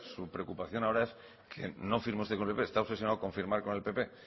su preocupación ahora es que no firmó usted con el pp está obsesionado con firmar con el pp